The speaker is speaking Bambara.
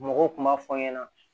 Mɔgɔw kun b'a fɔ n ɲɛna